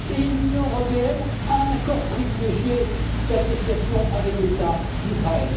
Et l'Union européenne a un accord privilégié d'association avec l'État d'Israël.